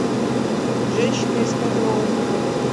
женщина из пятого округа